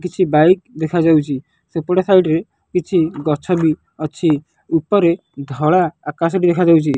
କିଛି ବାଇକ୍ ଦେଖାଯାଉଛି ସେପଟ ସାଇଡ ରେ କିଛି ଗଛ ବି ଅଛି ଉପରେ ଧଳା ଆକାଶଟି ଦେଖାଯାଉଛି।